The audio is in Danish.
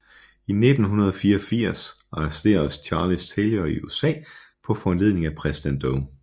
I 1984 arresteres Charles Taylor i USA på foranledning af præsident Doe